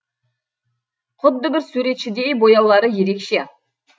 құдды бір суретшідей бояулары ерекше